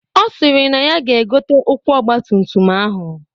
Ọ sịrị na ya ga-egote ụkwụ ọgbatumtum ahụ